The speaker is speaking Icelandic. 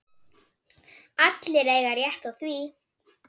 Allir eiga rétt á því.